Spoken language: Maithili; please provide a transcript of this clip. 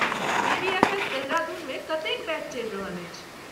बीबीएफएस देहरादूनमे कतेक बैच चलि रहल अछि?